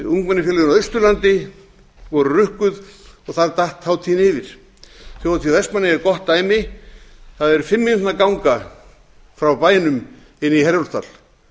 á austurlandi voru rukkuð og þar datt hátíðir yfir þjóðhátíð vestmannaeyja er gott dæmi það er fimm mínútna ganga frá bænum inn í herjólfsdal